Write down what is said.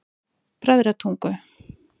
Bræðratungu